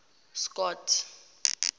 scott